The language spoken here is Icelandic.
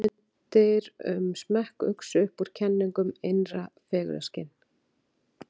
hugmyndir um smekk uxu upp úr kenningum um innra fegurðarskyn